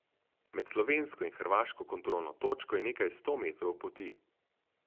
Med slovensko in hrvaško kontrolno točko je nekaj sto metrov poti.